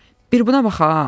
Bir buna bax ha!